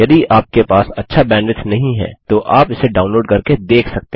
यदि आपके पास अच्छा बैंडविड्थ नहीं है तो आप इसे डाउनलोड करके देख सकते हैं